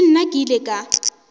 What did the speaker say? le nna ke ile ka